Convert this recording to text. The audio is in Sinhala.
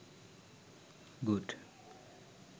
good